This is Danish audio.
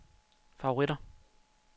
favoritter